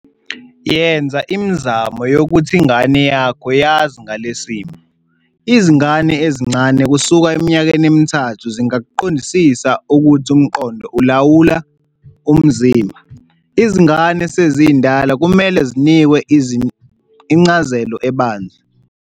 Yenza imizamo yokuthi ingane yakho yazi ngalesi simo. Izingane ezincane kusuka eminyakeni emithathu zingakuqondisisa ukuthi umqondo ulawula umzimba. Izingane esezindala kumele zinikwe incazelo ebanzi.